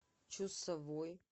чусовой